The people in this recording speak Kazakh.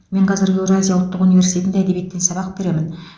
мен қазір еуразия ұлттық университетінде әдебиеттен сабақ беремін